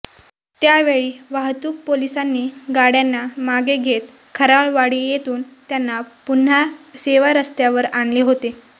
त्यावेळी वाहतूक पोलिसांनी गाड्यांना मागे घेत खराळवाडी येथून त्यांना पुन्हा सेवारस्त्यावर आणले होते